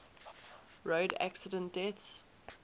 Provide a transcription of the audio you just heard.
road accident deaths